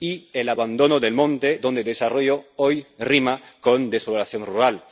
y el abandono del monte, donde desarrollo hoy rima con despoblación rural.